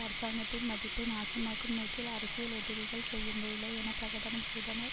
அரசாங்கத்தின் மதிப்பை நாசமாக்கும் நோக்கில் அரசியல் எதிரிகள் செய்யும் வேலை என பிரகடனம் செய்தனர்